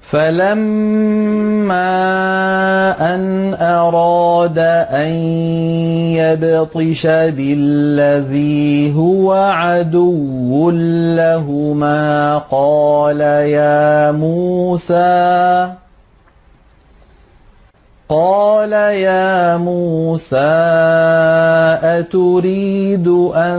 فَلَمَّا أَنْ أَرَادَ أَن يَبْطِشَ بِالَّذِي هُوَ عَدُوٌّ لَّهُمَا قَالَ يَا مُوسَىٰ أَتُرِيدُ أَن